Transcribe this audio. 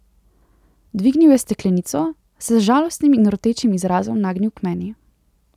Dvignil je steklenico, se z žalostnim in rotečim izrazom nagnil k meni.